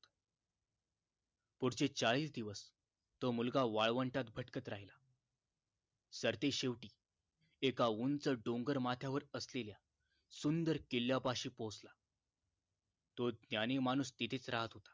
पुढचे चाळीस दिवस तो मुलगा वाळवंटात भटकत राहिला सरते शेवटी एका उंच डोंगर माथ्यावर असलेल्या सुंदर किल्यापाशी पोहचला तो ज्ञानी माणूस तिथेच राहत होता